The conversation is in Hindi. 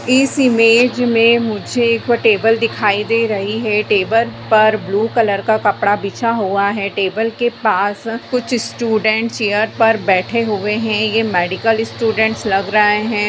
इस इमेज में मुझे एक टेबल दिखाई दे रही है| टेबल पर ब्लू कलर का कपड़ा बिछा हुआ है| टेबल के पास कुछ स्टूडेंट चेयर पर बैठे हुए हैं| ये मेडिकल स्टूडेंट लग रहें हैं।